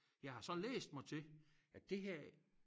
Jeg har så læst mig til at det her